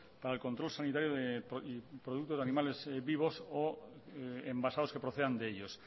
para el control sanitario y productos de animales vivos o embasados que procedan de ellos